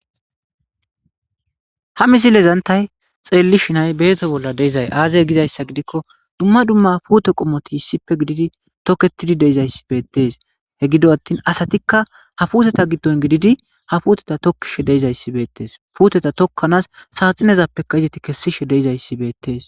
ha misilezantay xeelli shinay beeto bolla deizay aazay gizayssa gidikko dumma dumma puute qommoti hissippe gididi toketidi deizayssi beettees he gido attin asatikka ha puuteta giddon gididi ha puuteta tokkishe deizayssi beettees puuteta tokkanaas saaxinezappeka izati kessishe deizayssi beettees